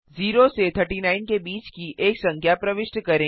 0 से 39 के बीच की एक संख्या प्रविष्ट करें